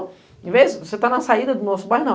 Ao invés de você estar na saída do nosso bairro, não.